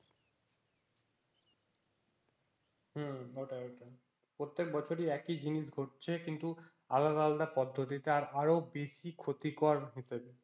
হম ওটাই ওটাই প্রত্যেক বছরে একই জিনিস ঘটছে কিন্তু আলাদা আলাদা পদ্ধতিতে আরো বেশি ক্ষতিকর হচ্ছে